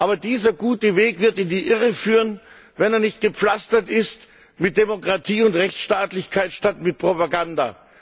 Aber dieser gute Weg wird in die Irre führen, wenn er nicht gepflastert ist mit Demokratie und Rechtstaatlichkeit statt mit Propaganda.